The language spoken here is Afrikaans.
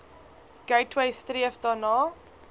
gateway streef daarna